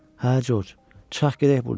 Hə Corc, çıxaq gedək burdan.